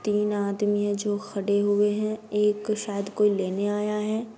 तीन आदमी है जो खडे हुए है एक शायद कोई लेने आया है ।